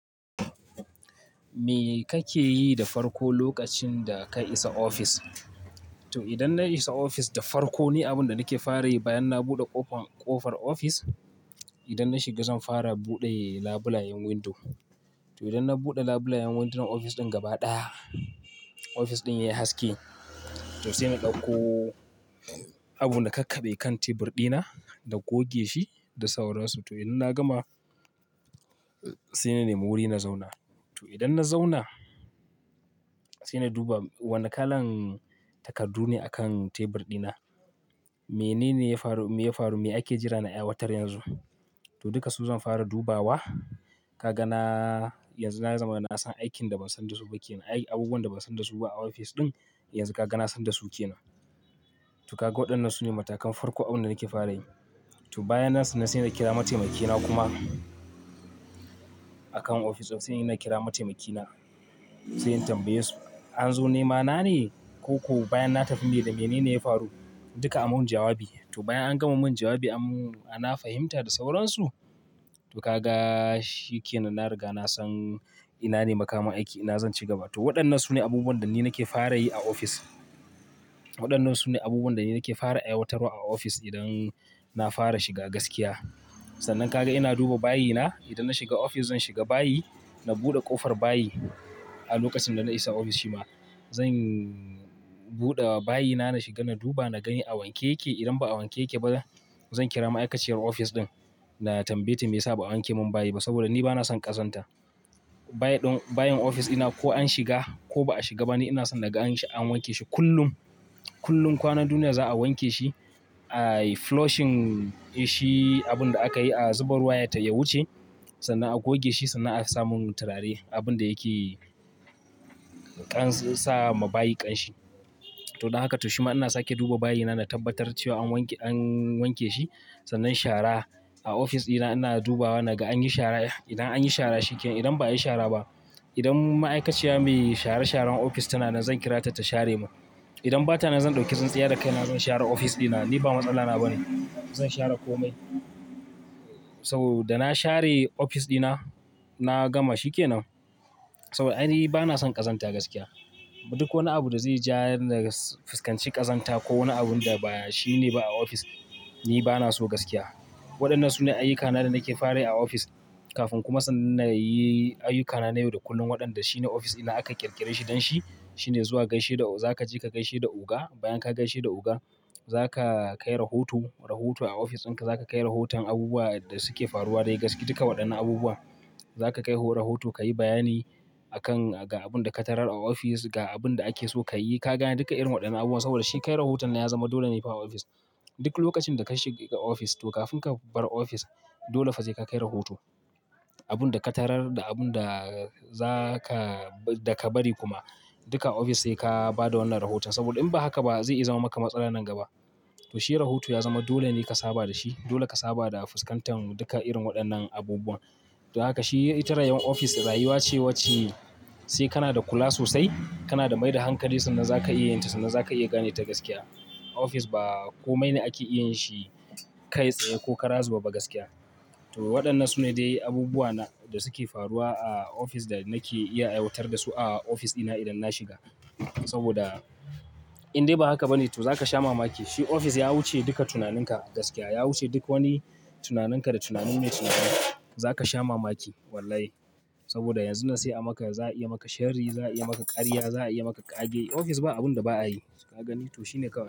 Me kake yi da farko lokacin da ka isa ofis? To idan na isa ofis, da farko ni abin da nake fara yi bayan na buɗe kofan ƙofar ofis. Idan na shiga, zan fara buɗe labulayen windo. To idan na buɗe labulayen windunan ofis ɗin gaba ɗaya, ofis ɗin yayi haske. To sai na ɗauko abin na kakkabe kan tebur ɗina da goge shi da sauransu. To idan na gama, sai na nemi wuri na zauna. To idan na zauna, sai na duba wane kalan takardu ne a kan tebur ɗina. Menene ya faru, me ya faru me ake jira na aiwatar yanzu. To duka su zan fara dubawa. Ka ga na, yanzu na zama na san aikin da ban san da su ba ke nan ai. Abubuwan da ban san da su ba a ofis ɗin, yanzu ka ga na san da su ke nan. To ka ga waɗannan su ne matakan farko abin da nake fara yi. To bayan nasu ne sai na kira mataimaki na kuma. A kan ofis din sai na kira mataimaki na, sai in tambaye su an zo nemana ne ko bayan na tafi, me da menene ya faru? Duka a mun jawabi. To bayan an gama mun jawabi ana fahimta da sauransu. To ka ga shi ke nan na riga na san ina ne makaman aiki ina zan cigaba. To waɗannan su ne abubuwan da ni nake fara yi a ofis. Waɗannan su ne abubuwan da ni nake fara aiwatarwa a ofis idan na fara shiga gaskiya. Sannan ka ga ina duba bayi na. Idan na shiga ofis zan shiga bayi, na buɗe ƙofar bayi. A lokacin da na isa ofis shima zan buɗe bayi na, na shiga, na duba, na gani a wanke yake. Idan ba a wanke yake ba zan kira ma'aikaciyar ofis ɗin da tambaye ta me yasa ba a wanke mun bayi ba saboda ni bana son ƙazanta. Bayin ofis ina ko an shiga ko ba a shiga ba ne ina son na ga an wanke shi kullum. Kullum kwanan duniya za'a wanke shi a. Flushing shi abun da aka yi a zuba ruwa yatai ya wuce sannan a goge shi sannan a samun turare abun da yake ƙara sa ma bayi ƙanshi. To don haka to shima ina sake duba bayi na, na tabbatar cewa an wanke shi. Sannan shara. A ofis ina ina dubawa na ga an yi shara. Idan an yi shara shi ke nan. Idan ba a yi shara ba, idan ma'aikaciya mai share sharan ofis tana nan zan kirata ta share mun. Idan bata nan zan ɗauki tsintsiya da kaina zan share ofis ɗina. Ni ba matsala na ba ne. Zan share komai. Sau da na share ofis ɗina, na gama shi ke nan. Kawai ai ni bana son ƙazanta gaskiya. Duk wani abu da zai ja na fisƙanci ƙazanta ko wani abun da ba shi ne ba a ofis, ni bana so gaskiya. Waɗannan su ne ayyukana da nake fara yi a ofis kafin kuma sannan na yi ayyukana na yau da kullum. Waɗanda shine ofis idan aka ƙirƙire shi don shi shine zuwa gaishe da, za ka je ka gaishe da oga. Bayan ka gaishe da oga, za ka kai rahoto. Rahoto a ofis in ka za ka kai rahoton abubuwan da suke faruwa dai gaskiya duka waɗannan abubuwan. Za ka kai rahoto, ka yi bayani akan ga abun da ka tarar a ofis, ga abun da ake so ka yi. Ka gane duka irin waɗannan abubuwa saboda shi kai rahoton ya zama dole ne fa a ofis. Duk lokacin da ka shiga ofis to kafin ka bar ofis dole fa sai ka kai rahoto. Abun da ka tarar da abun da za ka, da ka bari kuma. Duka a ofis sai ka bada wannan rahoton, saboda in ba haka zai iya zama maka matsala na gaba. To shi rahoto ya zama dole ne ka saba da shi. Dole ka saba da fisƙantan duka irin waɗannan abubuwa. To haka shi ita rayuwar ofis, rayuwa ce wacce sai kana da kula sosai, kana da maida hankali sannan zaka iya yinta, sannan zaka iya ganeta gaskiya. Ofis ba komai ne ake iya shi kai tsaye ko kara zube ba gaskiya. To waɗannan su ne dai abubuwa da suke faruwa a ofis da nake iya aiwatar da su a ofis ina idan na shiga. Saboda in dai ba haka ba ne to za ka sha mamaki. Shi ofis ya wuce duka tunaninka gaskiya. Ya wuce duk wani tunaninka da tunanin me tunani. Za ka sha mamaki wallahi saboda yanzu nan sai a maka, za a iya maka shari, za a iya maka ƙarya, za a iya maka ƙage. Ofis ba abun da ba a yi. Ka gani? To shi ne kawai.